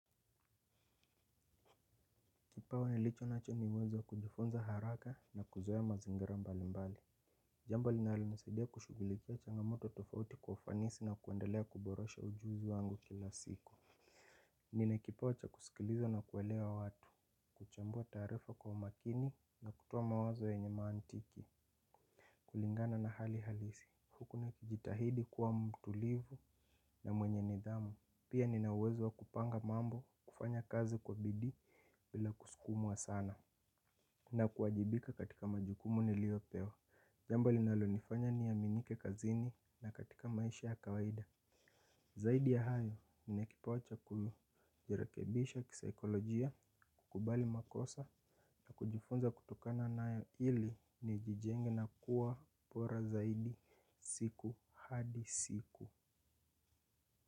Kipawa nilichonacho ni uwezo wa kujifunza haraka na kuzoea mazingira mbali mbali. Jambo linalonissidia kushugulikia changamoto tofauti kwa ufanisi na kuendelea kuborosha ujuzi wangu kila siku. Nina kipawa cha kusikiliza na kuelewa watu. Kuchambua taarifa kwa imakini na kutoa mawazo yenye mantiki. Kulingana na hali halisi. Huku nikijitahidi kuwa mtulivu na mwenye nidhamu. Pia nina uwezo wa kupanga mambo kufanya kazi kwa bidii bila kusukumwa sana. Na kuwajibika katika majukumu niliopewa jambo linalonifanya niaminike kazini na katika maisha ya kawaida. Zaidi ya hayo, nina kipawa cha kujirekebisha kisaikolojia, kukubali makosa. Na kujifunza kutokana nayo ili nijijenge na kuwa bora zaidi siku hadi siku.